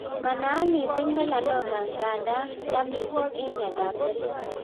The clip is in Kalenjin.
Manaat mising melanoma nga nda yaa mising eng' miondop seriat